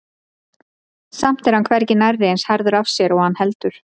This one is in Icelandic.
Samt er hann hvergi nærri eins harður af sér og hann heldur.